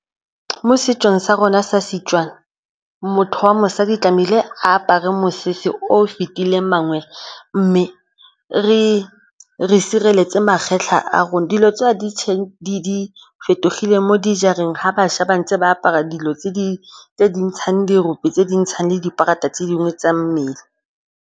Mo setsong sa rona sa Setswana motho wa mosadi tlamehile a apare mosese o fitileng mangwe, mme re sireletse magetlha a rona. Dilo tseo di fetogile mo dijareng fa bašwa ba ntse ba apara dilo tse di ntshang dirope, tse di ntshang le di-part-a tse dingwe tsa mmele.